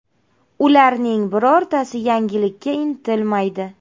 Ularning birortasi yangilikka intilmaydi.